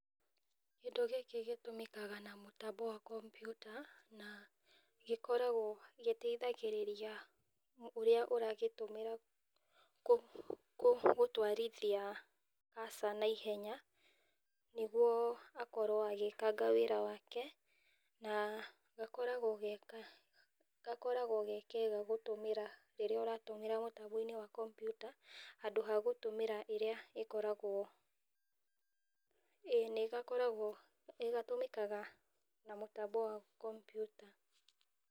Kĩndũ gĩkĩ gĩtũmĩkaga na mũtambo wa kompyuta, na gĩkoragwo gĩteithagĩrĩria ũrĩa ũragĩtũmĩra gũtwarithia cursor na ihenya, nĩguo akorwo agĩkanga wĩra wake , na gakoragwo ge kega gũtũmĩra rĩrĩa ũratũmĩra mũtambo-inĩ wa kompyuta , handũ hagũtũmĩra ĩrĩa ĩkoragwo, ĩĩ nĩgakoragwo ,nĩgatũmĩkaga na mũtambo wa kompyuta.